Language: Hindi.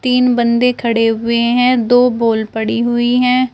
तीन बंदे खड़े हुए हैं दो पोल पड़ी हुई है।